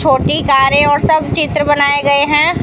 छोटी कारें और सब चित्र बनाए गए हैं।